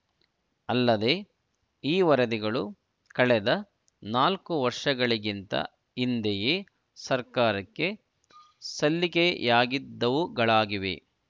ಅಲ್ಲದೆ ಈ ವರದಿಗಳು ಕಳೆದ ನಾಲ್ಕು ವರ್ಷಗಳಿಗಿಂತ ಹಿಂದೆಯೇ ಸರ್ಕಾರಕ್ಕೆ ಸಲ್ಲಿಕೆಯಾಗಿದ್ದವುಗಳಾಗಿವೆ